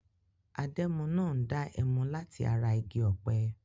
Adẹ́mu náà ń dá ẹmu láti ara igi ọ̀pẹ.